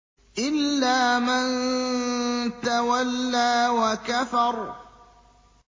إِلَّا مَن تَوَلَّىٰ وَكَفَرَ